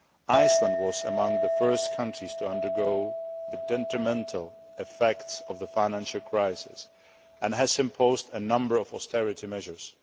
Iceland was among the first countries to undergo the detrimental effects of the financial crisis and has imposed a number of austerity measures.